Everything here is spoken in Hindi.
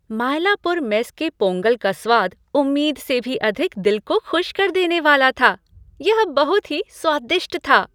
मायलापुर मेस के पोंगल का स्वाद उम्मीद से भी अधिक दिल को खुश कर देने वाला था। यह बहुत ही स्वादिष्ट था।